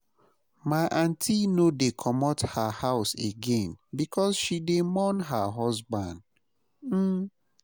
My aunty no dey comot her house again because she dey mourn her husband. um